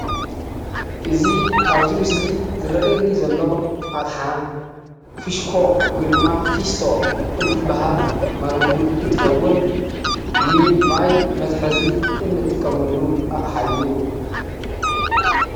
እዚ አብዚ ምስሊ ዝረእየኒ ዘሎ አቅሓ ፊሸኮ ወይ ድማ ፊስቶ እንትበሃል ወይ ከዓ እንትኸውን ንማይ መትሕዚ እንጥቀመሉ አቓሓ እዩ፡፡